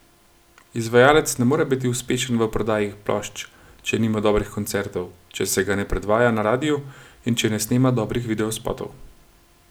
Izvajalec ne more biti uspešen v prodaji plošč, če nima dobrih koncertov, če se ga ne predvaja na radiu in če ne snema dobrih videospotov.